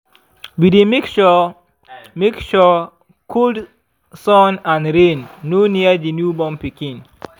we dy make sure make sure cold sun and rain no near the new born pikin